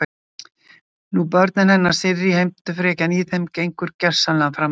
Nú börnin hennar Sirrý, heimtufrekjan í þeim gengur gersamlega fram af mér.